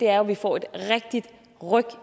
er at vi får et rigtigt ryk